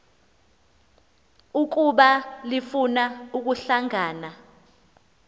ukuba lifuna ukuhlangana